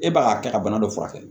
E b'a kɛ ka bana dɔ furakɛ